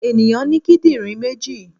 Ènìyàn ní kídìrín méjì.